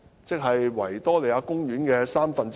即是維多利亞公園面積的三分之一。